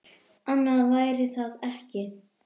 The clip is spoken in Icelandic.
Annað væri það ekki.